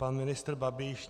Pan ministr Babiš...